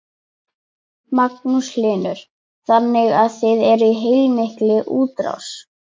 Magnús Hlynur: Þannig að þið eruð í heilmikilli útrás?